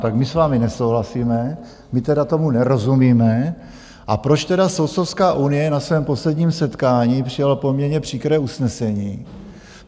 Tak my s vámi nesouhlasíme, my tedy tomu nerozumíme, a proč tedy Soudcovská unie na svém posledním setkání přijala poměrně příkré usnesení?